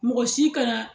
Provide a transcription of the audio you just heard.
Mɔgɔ si kana